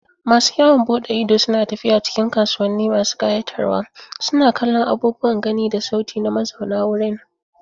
Masu yawon bude ido suna tafiya cikin kasuwanni masu kayatarwa, suna kallon abubuwan gani da sauti na mazauna wurin.